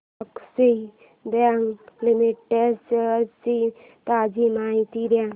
Axis bank limited shares ची ताजी माहिती दे